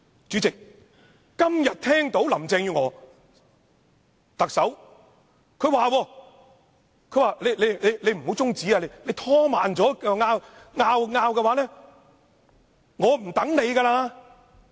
主席，我今天聽到特首林鄭月娥說："你不要提出中止待續議案，如果拖慢進度，繼續爭論，我不會等你了。